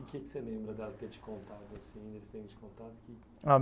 O que que você lembra dela ter te contado assim? Deles terem de contado